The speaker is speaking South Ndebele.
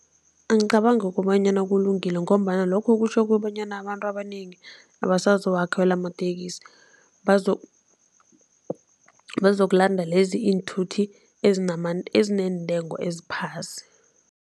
Angicabangi kobanyana kulungile ngombana lokho kutjho kobanyana abantu abanengi abasazowakhwela amatekisi bazokulanda lezi iinthuthi ezineentengo eziphasi.